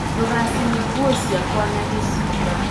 Ndũ gacine nguo ciakwa na gĩcinga